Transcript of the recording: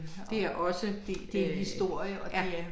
Det er også øh ja